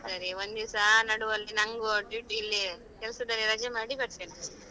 ಸರಿ ಒಂದಿವ್ಸ ನಡುವಲ್ಲಿ ನಂಗು duty ಇಲ್ಲಿ ಕೆಲ್ಸದಲ್ಲಿ ರಜೆ ಮಾಡಿ ಬರ್ತೇನೆ.